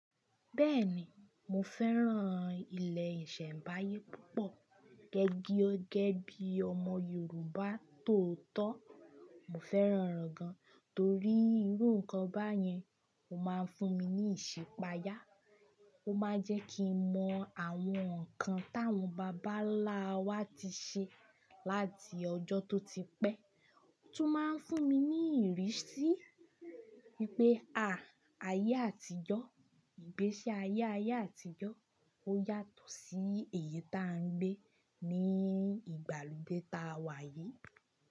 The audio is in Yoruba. Bẹ́ẹ̀ni, mo fẹ́ràn ilẹ̀ ìṣẹ̀mbáyé púpọ̀. Gẹ́gẹ́ bí ọmọ Yorùbá tó tọ́, mo fẹ́ràn oro gan, torí irú nǹkan báyẹn ó máa ń fún mi ní ìṣipáyà, ó máa ń jẹ́ kí n mọ àwọn nǹkan táwọn bàbá ńlá wa ti ṣe láti ọjọ́ tó ti pẹ́, ó tún máa ń fún mi ní ìrísí wipé à, ayé àtijọ́, ìgbésí ayé ayé àtijọ́ ó yàtọ̀ sí èyí tá a ń gbé ní ìgbàlódé ta wà yìí.